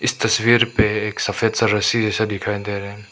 तस्वीर पे एक सफेद सा रस्सी जैसा दिखाई दे रहे--